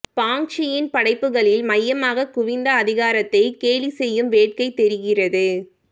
பாங்க்சியின் படைப்புகளில் மையமாகக் குவிந்த அதிகாரத்தைக் கேலிசெய்யும் வேட்கை தெரிகிறது